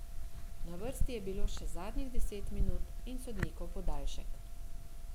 Na vrsti je bilo še zadnjih deset minut in sodnikov podaljšek.